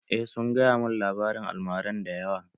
Eh sun gaya mun labarin almara da yawa